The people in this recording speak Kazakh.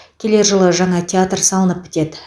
келер жылы жаңа театр салынып бітеді